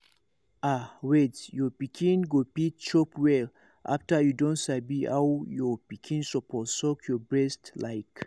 ah wait your pikin go fit chop well after you don sabi how your pikin suppose suck your breast like